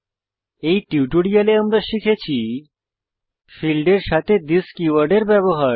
এই টিউটোরিয়ালে আমরা শিখেছি ফীল্ডের সাথে থিস কীওয়ার্ডের ব্যবহার